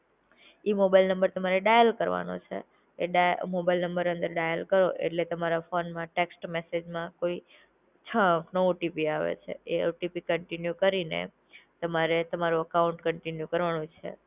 ઈ mobile number તમારે dial કરવાનો છે. એ ડાયલ એ મોબાઈલ નંબર અંદર ડાયલ કરો એટલે તમારા ફોનમાં ટેક્સ્ટ મેસેજમાં કોઈ છ અંકનું ઓટીપી આવે છે એ ઓટીપી કંટીન્યુ કરીને, તમે તમારો અકાઉન્ટ કરવાનું છે